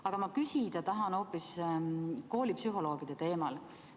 Aga küsida tahan ma hoopis koolipsühholoogide teemal.